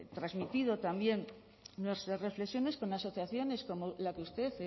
transmitido también nuestras reflexiones con asociaciones como la que usted